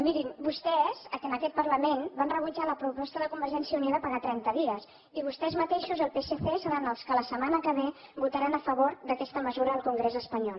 mirin vostès en aquest parlament van rebutjar la proposta de convergència i unió de pagar a trenta dies i vostès mateixos el psc seran els que la setmana que ve votaran a favor d’aquesta mesura al congrés espanyol